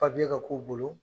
ka k'u bolo